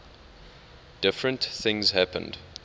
different things happened